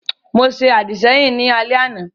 Mo ṣe àdìsẹ́yìn ní alẹ́ àná